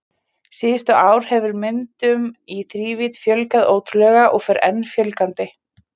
Síðustu ár hefur myndum í þrívídd fjölgað ótrúlega og fer enn fjölgandi.